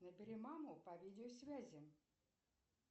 набери маму по видеосвязи